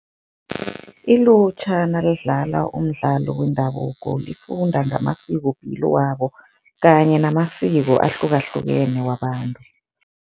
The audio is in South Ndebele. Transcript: Ilutjha nalidlala umdlalo wendabuko lifunda ngamasikopilo wabo kanye namasiko ahlukahlukene wabantu.